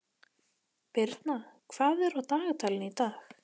Birna, hvað er á dagatalinu í dag?